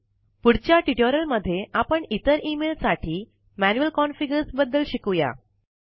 पुढच्या ट्यूटोरियल मध्ये आपण इतर इमेल साठी मैनुअल कॉन्फ़िगर्स बद्दल शिकूया